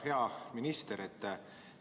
Hea minister!